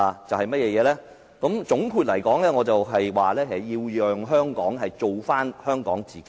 總括來說，我認為下屆特首要令香港做回香港自己。